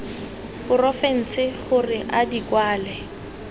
porofense gore a di kwale